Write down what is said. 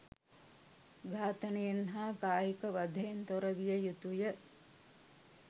ඝාතනයෙන් හා කායික වධයෙන් තොර විය යුතුය.